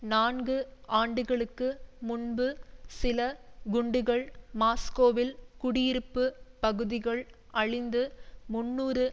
நான்கு ஆண்டுகளுக்கு முன்பு சில குண்டுகள் மாஸ்கோவில் குடியிருப்பு பகுதிகள் அழிந்து முன்னூறு